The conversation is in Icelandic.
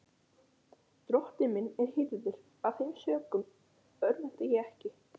Drottinn er minn hirðir, af þeim sökum örvænti ég ekki.